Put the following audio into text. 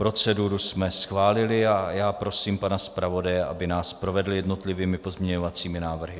Proceduru jsme schválili a já prosím pana zpravodaje, aby nás provedl jednotlivými pozměňovacími návrhy.